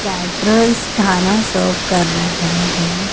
Caterers खाना serve कर रहे हैं।